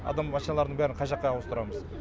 адам машиналардың бәрін қай жаққа ауыстырамыз